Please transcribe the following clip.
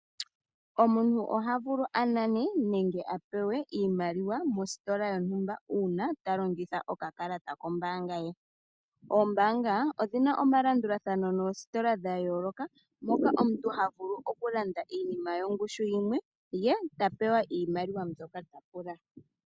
Omuntu oha vulu anane nenge apewe iimaliwa mostola yontumba uuna ta longitha oka kalata kombaanga ye. Oombaanga odhina omalandula thano noostola dha yooloka, moka omuntu havulu oku landa iinima yongushu yimwe, ye tapewa iimaliwa mbyoka ta pula.